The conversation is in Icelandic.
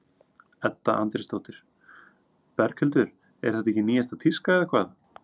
Edda Andrésdóttir: Berghildur er þetta ekki nýjasta tíska eða hvað?